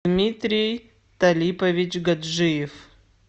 дмитрий талипович гаджиев